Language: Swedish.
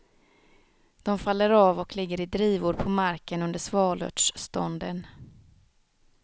De faller av och ligger i drivor på marken under svalörtsstånden.